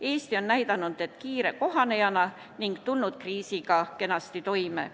Eesti on näidanud end kiire kohanejana ning tulnud kriisiga kenasti toime.